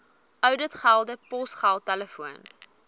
ouditgelde posgeld telefoon